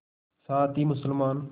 साथ ही मुसलमान